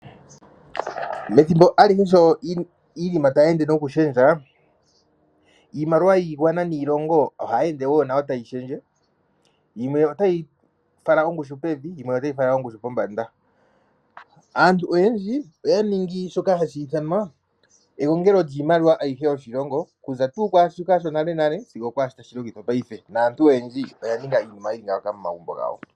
Methimbo alihe sho iinima tayi ende nokushendja iimaliwa yiigwana niilongo ohayi ende wo nayo tayi shendje. Yimwe otayi fala ongushu pevi yimwe otayi fala ongushu pombanda. Aantu oyendji oya ningi shoka hashi ithanwana egongelo lyiimaliwa ayihe yoshilongo okuza tuu kwaashoka shonalenale sigo okwaashoka tashi longithwa ngashingeyi naantu oya ninga iinima yili ngaaka momagumbo gawo.